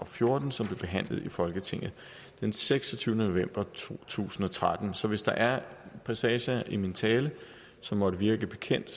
fjorten som blev behandlet i folketinget den seksogtyvende november to tusind og tretten så hvis der er passager i min tale som måtte virke bekendt